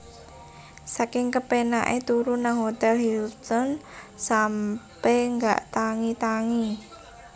Saking kepenak e turu nang Hotel Hilton sampe gak tangi tangi